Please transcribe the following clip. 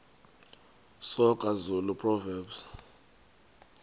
soga zulu proverbs